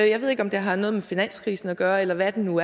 jeg ved ikke om det havde noget med finanskrisen at gøre eller hvad det nu